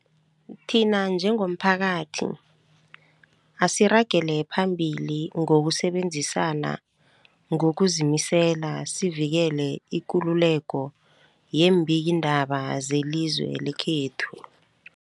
Thina njengomphakathi, asiragele phambili ngokusebenzisana ngokuzimisela sivikele ikululeko yeembikiindaba zelizwe lekhethu.